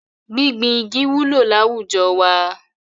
Gbíngbin igi wúlò láwùjọ wa.